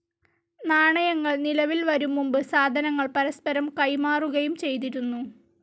നാണയങ്ങൾ നിലവിൽ വരുംമുമ്പ് സാധനങ്ങൾ പരസ്പരം കൈമാറുകയും ചെയ്തിരുന്നു.